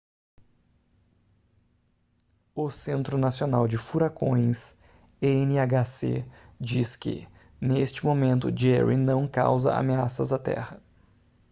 o centro nacional de furacões nhc diz que neste momento jerry não causa ameaças à terra